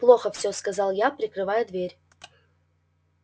плохо все сказал я прикрывая дверь